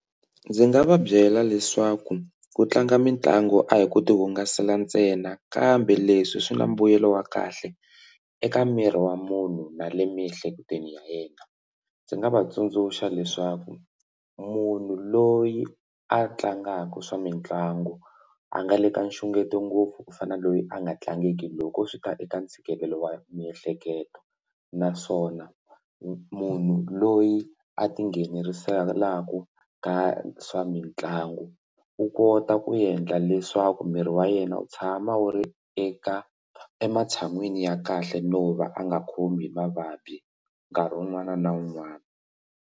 Ndzi nga va byela leswaku ku tlanga mitlangu a hi ku ti hungasela ntsena kambe leswi swi na mbuyelo wa kahle eka miri wa munhu na le miehleketweni ya yena ndzi nga va tsundzuxa leswaku munhu loyi a tlangaka swa mitlangu a nga le ka nxungeto ngopfu ku fana na loyi a nga tlangiki loko swi ta eka ntshikelelo wa miehleketo naswona munhu loyi a tingheneleriselaku ka swa mitlangu u kota ku endla leswaku miri wa yena wu tshama wu ri eka ematshan'wini ya kahle no va a nga khomi hi mavabyi nkarhi wun'wana na wun'wana.